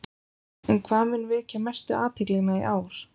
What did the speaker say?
En hvað mun vekja mestu athyglina í ár?